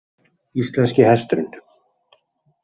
Íslenski hesturinn